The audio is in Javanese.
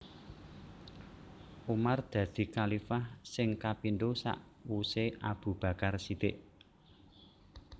Umar dadi khalifah sing kapindo sakwuse Abu Bakar Shidiq